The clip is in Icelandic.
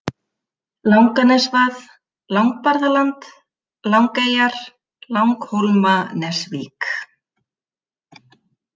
Langanesvað, Langbarðaland, Langeyjar, Langhólmanesvík